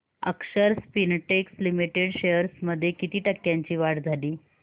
अक्षर Spintex limited shares मध्ये किती टक्क्यांची वाढ झाली